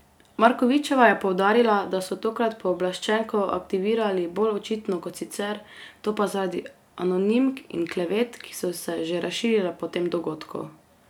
Markovičeva je poudarila, da so tokrat pooblaščenko aktivirali bolj očitno kot sicer, to pa zaradi anonimk in klevet, ki so se že razširile po tem dogodku.